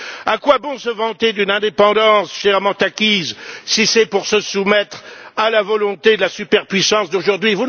À quoi bon se vanter d'une indépendance chèrement acquise, si c'est pour se soumettre à la volonté de la superpuissance d'aujourd'hui?